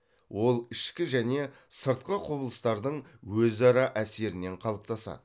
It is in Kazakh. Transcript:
ол ішкі және сыртқы құбылыстардың өзара әсерінен қалыптасады